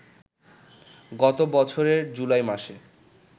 গতবছরের জুলাই মাসে